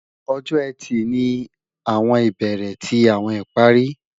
Ọjọ́-Ẹtì ni awọn ibere ti awọn ìparí